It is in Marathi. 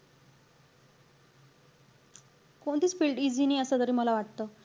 कोणतीच field easy नाही असं तरी मला वाटतं.